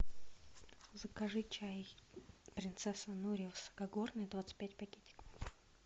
закажи чай принцесса нури высокогорный двадцать пять пакетиков